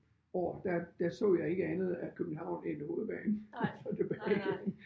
År der der så jeg ikke andet af København end hovedbanen og så tilbage igen